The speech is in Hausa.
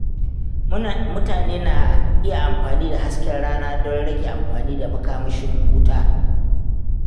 Mutane na iya amfani da hasken rana don rage amfani da makamashin wuta.